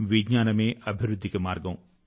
విజ్ఞానమే అభివృద్ధికి మార్గం